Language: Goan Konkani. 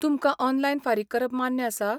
तुमकां ऑनलाइन फारीक करप मान्य आसा?